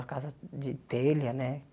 A casa de telha, né?